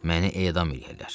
Məni edam eləyərlər.